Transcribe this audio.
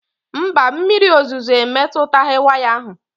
Mba, mmiri ozuzo emetughị waya ahụ